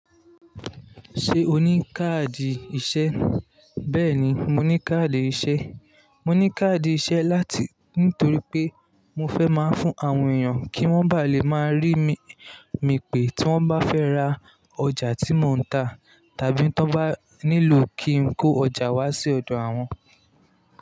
Ṣé o ní káàdì ìṣẹ? Bẹ́ẹ̀ ni, mo ní káàdì ìṣe. Mo ní káàdì ìṣe láti nítorí pé mo fẹ́ máa ń fún àwọn èèyàn kí wọ́n bá lè máa rí mi pé tí wọ́n bá fẹ́ ra ọjà tí mò ń ta tàbí tí wọ́n bá nílò kí n kó ọjà wá sí ọ̀dọ̀ àwọn.